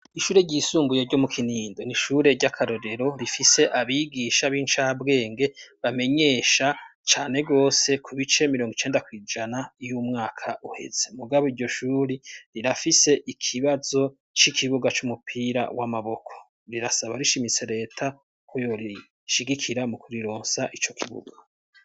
Ishure ryisumbuye ryo mu Kinindo, n'ishure ry'akarorero rifise abigisha b'incabwenge bamenyesha cane gose ku bice mirongo icenda kw'ijana uyo umwaka uheze mugabo iryo shuri rirafise ikibazo c'ikibuga c'umupira w'amaboko, rirasaba rishimitse leta ko yorishigikira mu kurironsa ico kibuga.